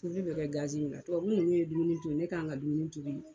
Tobili bi kɛ min na tubabu nunnu ye dumuni tobi, ne k'an ka dumuni tobi